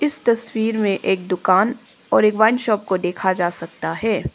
इस तस्वीर मे एक दुकान और एक वाइन शॉप को देखा जा सकता है।